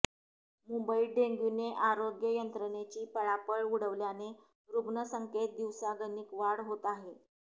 मुंबईत डेंग्यूने आरोग्य यंत्रणेची पळापळ उडवल्याने रुग्णसंख्येत दिवसागणिक वाढ होत आहे